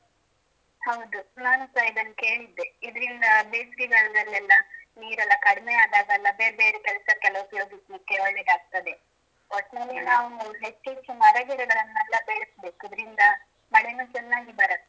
ಹೌದು ನಾನು ಸಹ ಇದನ್ನು ಕೇಳಿದ್ದೆ ಇದರಿಂದ ಬೇಸಿಗೆ ಕಾಲದಲ್ಲಿ ಎಲ್ಲ ನೀರೆಲ್ಲ ಕಡಿಮೆ ಆದಾಗ ಎಲ್ಲ ಬೇರ್ಬೆರೆ ಕೆಲ್ಸಕ್ಕೆ ಎಲ್ಲಾ ಉಪಯೋಗಿಸ್ಲಿಕ್ಕೆ ಒಳ್ಳೆದಾಗ್ತದೆ ಒಟ್ನಲ್ಲಿ ನಾವು ಹೆಚ್ಚು ಹೆಚ್ಚು ಮರಗಿಡಗಳನೆಲ್ಲಾ ಬೆಳಸ್ಬೇಕು ಇದರಿಂದ